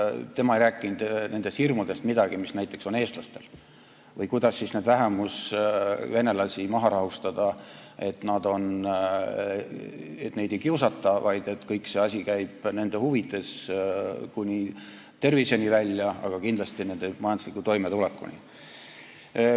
Tema ei rääkinud midagi nendest hirmudest, mis on näiteks eestlastel, või sellest, kuidas neid vähemusvenelasi maha rahustada, et neid ei kiusata, vaid kogu see asi on nende huvides, kuni terviseni välja, aga kindlasti on see nende majandusliku toimetuleku huvides.